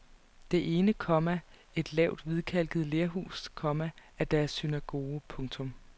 Det ene, komma et lavt hvidkalket lerhus, komma er deres synagoge. punktum